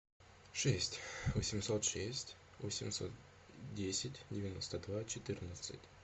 шесть восемьсот шесть восемьсот десять девяносто два четырнадцать